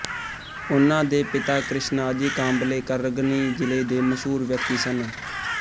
ਉਨ੍ਹਾਂ ਦੇ ਪਿਤਾ ਕ੍ਰਿਸ਼ਣਾਜੀ ਕਾਂਬਲੇ ਕਰਗਨੀ ਜਿਲੇ ਦੇ ਮਸ਼ਹੂਰ ਵਿਅਕਤੀ ਸਨ